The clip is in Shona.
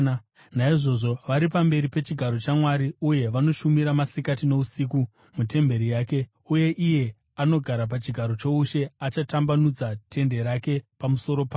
Naizvozvo, “vari pamberi pechigaro chaMwari uye vanomushumira masikati nousiku mutemberi yake; uye iye anogara pachigaro choushe achatambanudza tende rake pamusoro pavo.